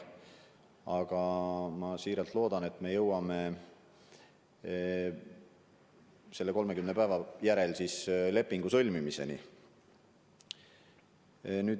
Aga ma väga loodan, et me jõuame selle 30 päeva möödudes lepingu sõlmimiseni.